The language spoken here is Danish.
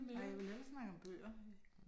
Nej jeg vil hellere snakke om bøger